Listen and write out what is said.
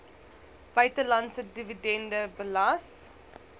buitelandse dividende belas